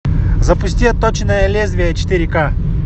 запусти отточенное лезвие четыре ка